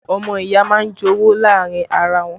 Ọmọ ìyá máa ń jowú láàrin ara wọ́n